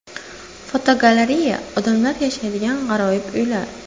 Fotogalereya: Odamlar yashaydigan g‘aroyib uylar.